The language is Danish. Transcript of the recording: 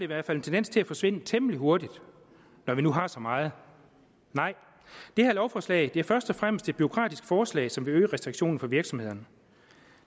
hvert fald en tendens til at forsvinde temmelig hurtigt når vi nu har så meget det her lovforslag er først og fremmest et bureaukratisk forslag som vil øge restriktionerne for virksomhederne